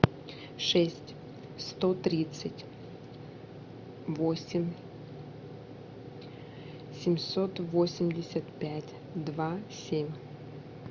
шесть сто тридцать восемь семьсот восемьдесят пять два семь